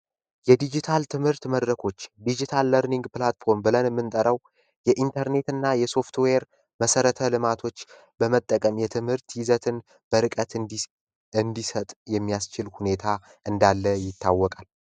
የዲጂታል ትምህርት መድረኮች ብለን የምንጠራው የኢንተርኔት እና የሶፍትዌር መሰረተ ልማቶችን በመጠቀም የትምህርት ይዘትን ጥልቀት እንዲሰጥ የሚያስችል ሁኔታ እንዳለ ይታወቃል።